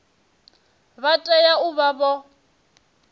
vha tea u vha vho